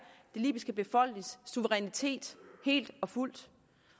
den libyske befolknings suverænitet helt og fuldt